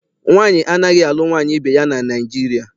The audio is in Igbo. Nwaanyị anaghị alụ nwaanyị ibe ya na Naịjirịa.